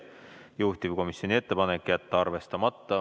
Juhtivkomisjoni ettepanek on jätta see arvestamata.